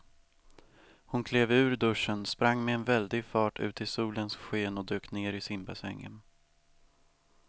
Hon klev ur duschen, sprang med väldig fart ut i solens sken och dök ner i simbassängen.